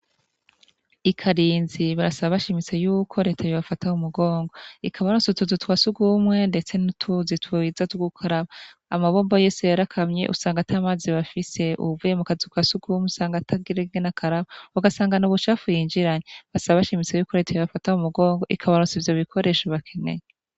I Karinzi barasaba bashimitse yuko reta yobafata mu mugongo ikabaronsa utuzu twa sugumwe ndetse n'utuzi twiza twugukaraba, amabombo yose yarakamye usanga ata mazi bafise, uwuvuye mu kazu ka sugumwe usanga atagira uko akaraba ugasanga n'ubucafu yinjiranye, basaba bashimitse yuko reta yobafata mu mugongo ikabaronsa ivyo bikoresho bakeneye.